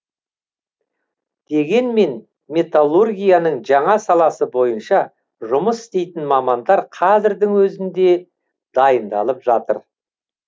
дегенмен металлургияның жаңа саласы бойынша жұмыс істейтін мамандар қазірдің өзінде дайындалып жатыр